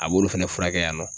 A b'olu fɛnɛ furakɛ yan nɔ.